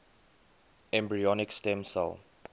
embryonic stem cell